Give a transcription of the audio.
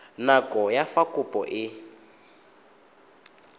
nako ya fa kopo e